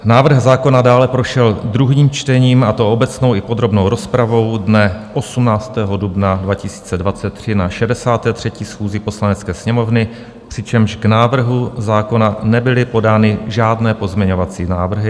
Návrh zákona dále prošel druhým čtením, a to obecnou i podrobnou rozpravou dne 18. dubna 2023 na 63. schůzi Poslanecké sněmovny, přičemž k návrhu zákona nebyly podány žádné pozměňovací návrhy.